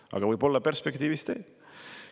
Aga võib-olla perspektiivis teeb.